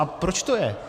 A proč to je?